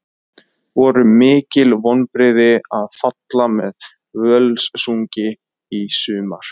Voru mikil vonbrigði að falla með Völsungi í sumar?